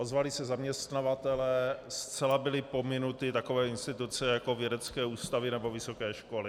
Ozvali se zaměstnavatelé, zcela byly pominuty takové instituce, jako vědecké ústavy nebo vysoké školy.